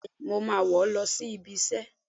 Béèni, mọ ma wọ lọ sí ibí isẹ